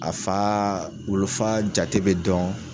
A fa wulufa jate bɛ dɔn.